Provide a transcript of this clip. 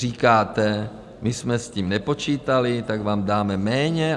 Říkáte, my jsme s tím nepočítali, tak vám dáme méně.